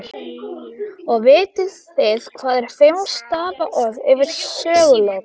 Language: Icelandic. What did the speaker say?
Og vitið þið hvað er fimm stafa orð yfir sögulok?